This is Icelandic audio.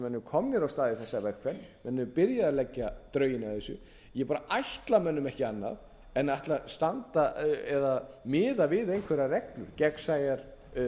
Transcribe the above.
stað í þessa vegferð menn eru byrjaðir að leggja drögin að þessu ég bara ætla mönnum ekki annað en að ætla að standa eða miða við einhverjar reglur gegnsæjar